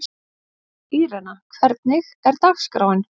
Írena, hvernig er dagskráin?